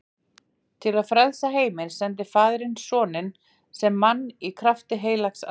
Til að frelsa heiminn sendi faðirinn soninn sem mann í krafti heilags anda.